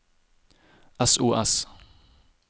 sos